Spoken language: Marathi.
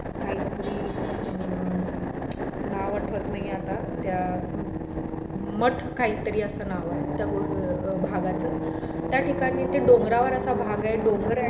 काही तरी अं नाव आठवत नाही आता त्या मठ काही तरी असं नाव आहे अं भागच त्या ठिकाणी असं डोंगरावर भाग आहे डोंगर